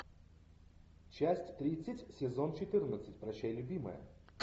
часть тридцать сезон четырнадцать прощай любимая